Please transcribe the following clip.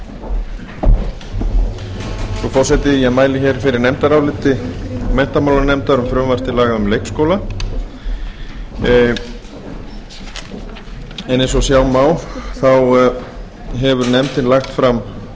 frú forseti ég mæli hér fyrir nefndaráliti menntamálanefndar um frumvarp til laga um leikskóla en eins og sjá má þá hefur nefndin lagt fram